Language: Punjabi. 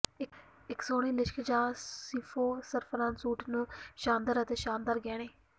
ਇਕ ਸੋਹਣੇ ਲਿਸ਼ਕ ਜਾਂ ਸ਼ੀਫੋਂ ਸਰਾਫ਼ਾਨ ਸੂਟ ਨੂੰ ਸ਼ਾਨਦਾਰ ਅਤੇ ਸ਼ਾਨਦਾਰ ਗਹਿਣੇ